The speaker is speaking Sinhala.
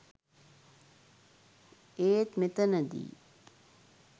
ඒත් මෙතනදි